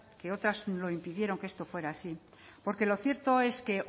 que otras lo impidieron que esto fuera así porque lo cierto es que